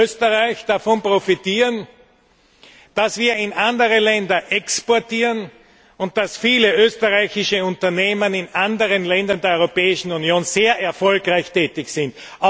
in Österreich davon profitieren, dass wir in andere Länder exportieren, und dass viele österreichische Unternehmen in anderen Ländern der Europäischen Union sehr erfolgreich tätig sind.